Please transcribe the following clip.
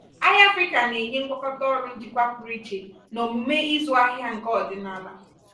ahịa afrịka na-enye ngwakọta ọrụ njikwa ego pụrụ iche na omume ịzụ ahịa nke ọdịnala.